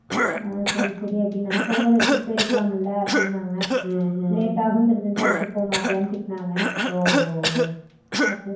அஹ் சேரிசேரி அப்புடினாங்க போகும்போதே எடுத்துட்டு போயிருக்காலம்னாங்க Noise late ஆகும்தெரிஞ்சுருந்தா எடுத்துட்டு போக மாட்டயான்னு திட்டுனாங்க